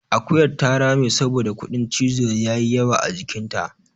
akuyar ta rame saboda kuɗin cizo ya yi yawa a jikinta